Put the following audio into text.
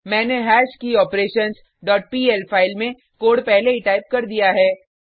मैंने हैश्कियोपरेशंस dot PL file में कोड पहले ही टाइप कर दिया है